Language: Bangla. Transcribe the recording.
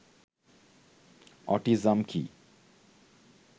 অটিজম কি